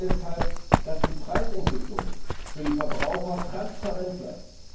Wir wollen deshalb, dass die Preisentwicklung für die Verbraucher transparent bleibt.